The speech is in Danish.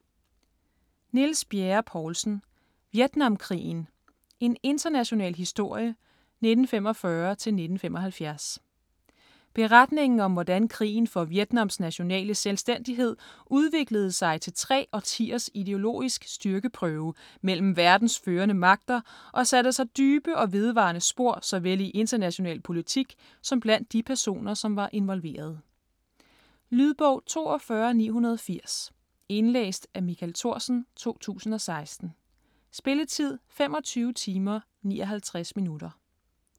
Bjerre-Poulsen, Niels: Vietnamkrigen: en international historie - 1945-1975 Beretningen om hvordan krigen for Vietnams nationale selvstændighed udviklede sig til tre årtiers ideologisk styrkeprøve mellem verdens førende magter og satte sig dybe og vedvarende spor såvel i international politik som blandt de personer som var involverede. Lydbog 42980 Indlæst af Michael Thorsen, 2016. Spilletid: 25 timer, 59 minutter.